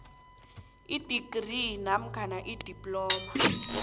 idigri namkha idiploma